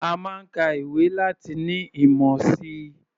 A máa ń ka ìwé láti ní ìmọ̀ si.